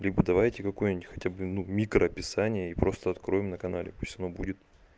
либо давайте какую-нибудь хотя бы ну микро описание и просто откроем на канале пусть оно будет